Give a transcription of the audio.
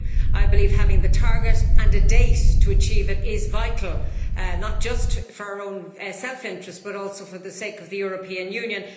I believe having the target and a date to achieve it is vital, not just for our own self interest, but also for the sake of the European Union.